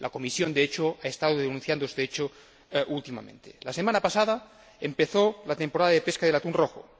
La Comisión, de hecho, ha estado denunciando este asunto últimamente. La semana pasada empezó la temporada de pesca del atún rojo.